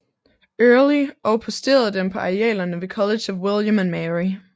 Early og posteret dem på arealerne ved College of William and Mary